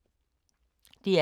DR K